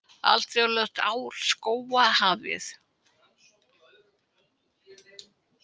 Alþjóðlegt ár skóga hafið